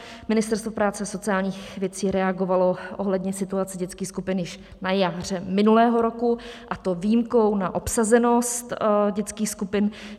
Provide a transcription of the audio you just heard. Ministerstvo práce a sociálních věcí reagovalo ohledně situace dětských skupin již na jaře minulého roku, a to výjimkou na obsazenost dětských skupin.